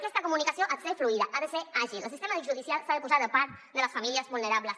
aquesta comu·nicació ha de ser fluida ha de ser àgil el sistema judicial s’ha de posar de part de les famílies vulnerables